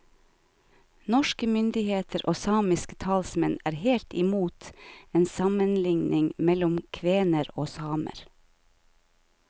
Norske myndigheter og samiske talsmenn er helt i mot en sammenligning mellom kvener og samer.